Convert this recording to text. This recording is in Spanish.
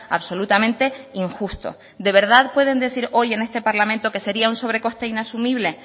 absolutamente injusto de verdad pueden decir hoy en este parlamento que sería un sobrecoste inasumible